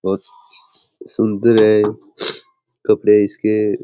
बहुत सुंदर है कपड़े इसके।